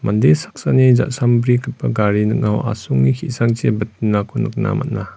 mande saksani ja·sambrigipa gari ning·ao asonge ki·sangchi bitinako nikna man·a.